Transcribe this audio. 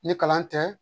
Ni kalan tɛ